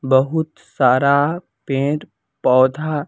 बहुत सारा पेंर पौधा --